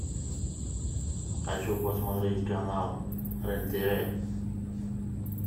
хочу посмотреть канал рен тв